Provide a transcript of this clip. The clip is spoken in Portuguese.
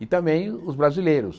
E também os brasileiros.